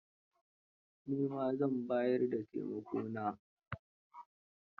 Ni ma zan bayar da taimakon.